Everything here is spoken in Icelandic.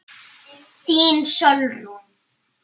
Þín, Sólrún.